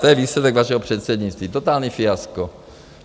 To je výsledek vašeho předsednictví, totální fiasko.